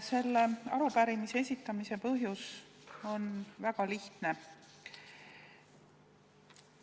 Selle arupärimise esitamise põhjus on väga lihtne.